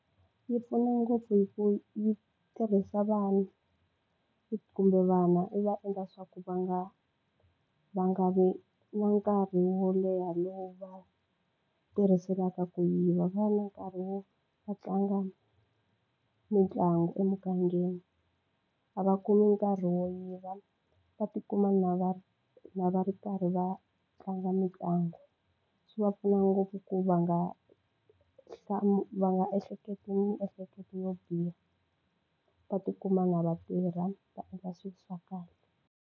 Yi pfuna ngopfu hi ku yi tirhisa vanhu kumbe vana i va endla swa ku va nga va nga vi na nkarhi wo leha lowu va tirhiselaka ku yiva va na nkarhi wo va tlanga mitlangu emugangeni a va kumi nkarhi wo yiva va tikuma na va ri na va ri karhi va tlanga mitlangu swi va pfuna ngopfu ku va nga va nga ehleketi miehleketo yo biha va tikuma na vatirha va endla swilo swa kahle.